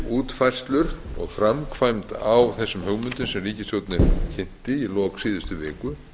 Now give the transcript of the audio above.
útfærslur og framkvæmd á þessum hugmyndum sem ríkisstjórnin kynnti í lok síðustu viku